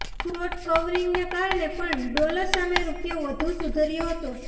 short કવરિંગને કારણે પણ ડોલર સામે રૂપિયો વધુ સુધર્યો હતો